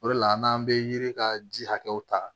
O de la an n'an bɛ yiri ka ji hakɛw ta